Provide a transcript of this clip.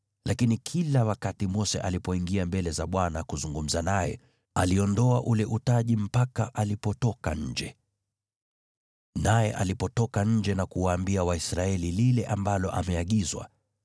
Lakini kila wakati Mose alipoingia mbele za Bwana kuzungumza naye, aliondoa ule utaji mpaka alipotoka nje. Naye alipotoka nje na kuwaambia Waisraeli lile ambalo ameagizwa,